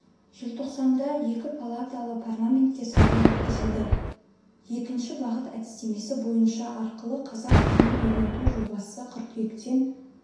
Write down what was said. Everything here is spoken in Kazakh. желтоқсанда екі палаталы парламентке сайлау өткізілді екінші бағыт әдістемесі бойынша арқылы қазақ тілін үйрету жобасы қыркүйектен